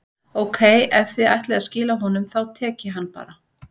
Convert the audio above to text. Ókei, ef þið ætlið að skila honum, þá tek ég hann bara.